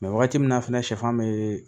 waati min na fɛnɛ sɛfan bee